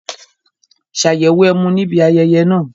Ṣàyẹ̀wò ẹmu ní ibi ayẹyẹ náà